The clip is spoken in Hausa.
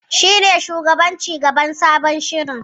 Shi ne shugaban ci gaban sabon shirin.